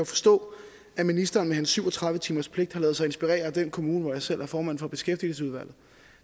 forstå at ministeren med sin syv og tredive timerspligt har ladet sig inspirere af den kommune hvor jeg selv er formand for beskæftigelsesudvalget